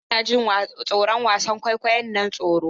Hassan yana jin tsoron wasan kwaikwayon nan tsoron.